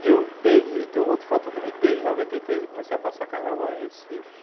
E eu, desde, tem um outro fator também, desde noventa e três eu comecei a passar carnaval em Recife.